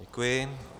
Děkuji.